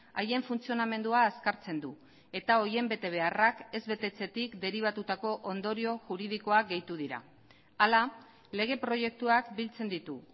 haien funtzionamendua azkartzen du eta horien betebeharrak ez betetzetik deribatutako ondorio juridikoak gehitu dira hala lege proiektuak biltzen ditu